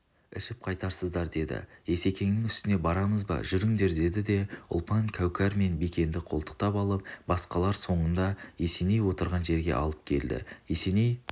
ішіп қайтарсыздар деді есекеңнің үстіне барамыз ба жүріңдер деді де ұлпан кәукер мен бикенді қолтықтап алып басқалар соңында есеней отырған жерге алып келді есеней